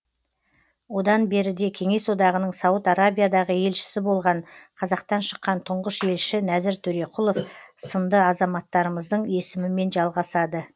одан беріде кеңес одағының сауд арабиядағы елшісі болған қазақтан шыққан тұңғыш елші нәзір төреқұлов сынды азаматтарымыздың есімімен жалғасады